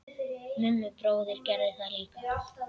Mummi bróðir gerði það líka.